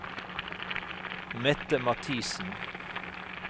Mette Mathisen